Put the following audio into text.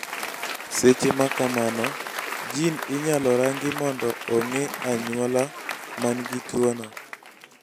seche makamano, jin inyalo rangi mondo ong'e anyuolo man gi tuo no